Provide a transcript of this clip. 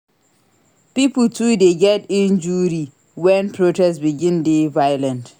Pipo too dey get injury wen protest begin dey violent.